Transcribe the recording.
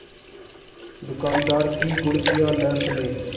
दुकानदार की घुड़कियाँ न सुने